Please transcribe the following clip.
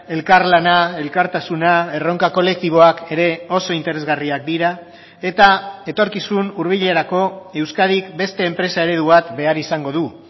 elkarlana elkartasuna erronka kolektiboak ere oso interesgarriak dira eta etorkizun hurbilerako euskadik beste enpresa eredu bat behar izango du